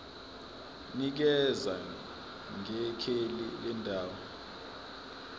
nikeza ngekheli lendawo